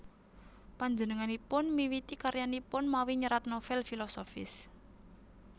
Panjenenganipun miwiti karyanipun mawi nyerat novèl filosofis